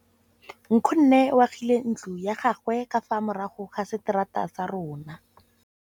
Nkgonne o agile ntlo ya gagwe ka fa morago ga seterata sa rona.